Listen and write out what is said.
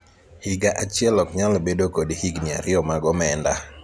higa achiel ok nyal bedo kod higni ariyo mag omenda